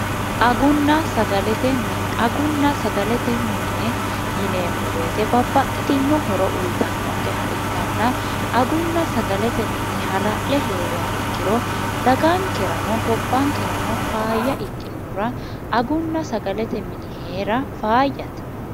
agunna sagalete mine agunna sagalete mine yineemmo beete babbaxxitino horo uyitannonqe ha ikkanna agunna sagalete mini hala'le hee'rea ikkiro dagaankerano gobbaankerano faayya ikkinuhura agunna sagalete mini hee'ra faayyate